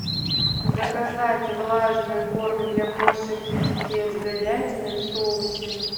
заказать влажный корм для кошек китекет с говядиной в соусе